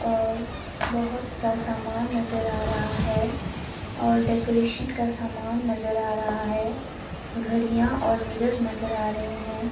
और बहुत सा सामान नजर आ रहा है और डेकोरेशन का सामान नजर आ रहा है घड़ियां और मिरर नजर आ रहे हैं।